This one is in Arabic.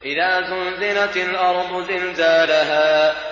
إِذَا زُلْزِلَتِ الْأَرْضُ زِلْزَالَهَا